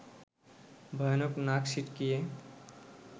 ভয়ানক নাক সিঁটকিয়ে